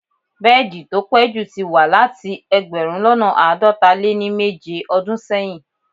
Bẹ́ẹ̀di tó pẹ̀ jú tí wà láti ẹgbẹ̀rún lọ́nà àádọta lé ní méje ọdún sẹ́yìn.